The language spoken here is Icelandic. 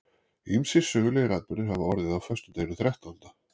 Ýmsir sögulegir atburðir hafa orðið á föstudeginum þrettánda.